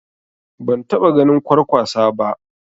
Ban taɓa ganin Kwarkwasa ba